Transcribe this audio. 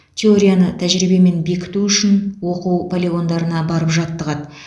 теорияны тәжірибемен бекіту үшін оқу полигондарына барып жаттығады